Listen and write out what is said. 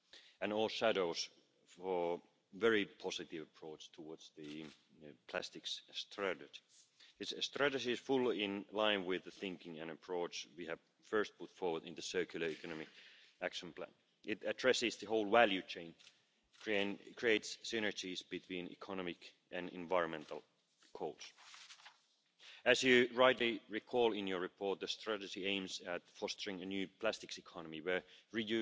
products and waste legislation we very much appreciate the Parliament's interest in this area. In 2015, the Commission made a commitment to assess the issues. This is exactly what we have done in the Communication which we published in January. We identified four main issues and we set out a